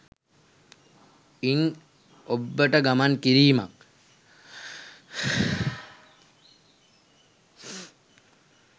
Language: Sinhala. ඉන් ඔබ්බට ගමන් කිරීමක්